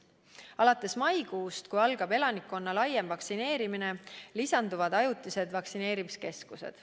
Alates maikuust, kui algab elanikkonna laiem vaktsineerimine, lisanduvad ajutised vaktsineerimiskeskused.